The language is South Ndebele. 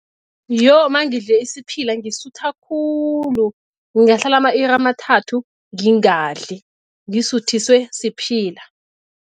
Yo, mangidle isiphila ngisutha khulu ngingahlala ama-iri amathathu ngingadli ngisuthiswe siphila.